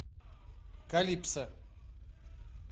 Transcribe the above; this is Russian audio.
калипсо